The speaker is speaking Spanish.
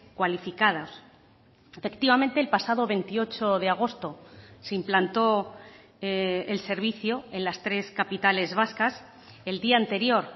cualificados efectivamente el pasado veintiocho de agosto se implantó el servicio en las tres capitales vascas el día anterior